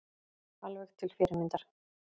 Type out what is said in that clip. Alveg til fyrirmyndar